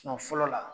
fɔlɔ la